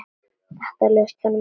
Þetta leist honum ekki á.